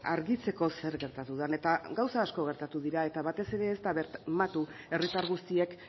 argitzeko zer gertatu den eta gauza asko gertatu dira eta batez ere ez da bermatu herritar guztiek